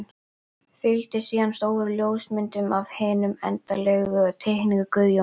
Fylgdi síðan stór ljósmynd af hinni endanlegu teikningu Guðjóns.